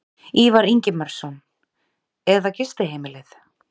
Ívar Ingimarsson: Eða gistiheimilið?